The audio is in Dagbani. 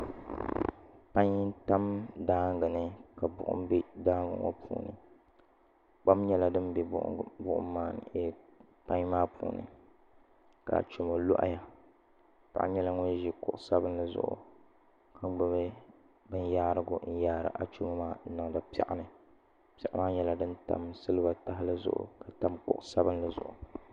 Pai n tam daangi ni ka buɣum bɛ daangi ŋo puuni kpam nyɛla din bɛ pai maa puuni ka achomo loɣaya paɣa nyɛla ŋun ʒi kuɣu sabinli zuɣu ka gbubi binyaarigu n yaari achomo maa n niŋdi piɛɣu ni piɛɣu maa nyɛla din silba tahali zuɣu n tam kuɣu sabinli zuɣu